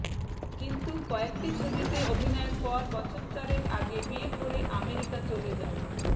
কিন্তু কয়েকটি ছবিতে অভিনয়ের পর বছর চারেক আগে বিয়ে করে আমেরিকা চলে যান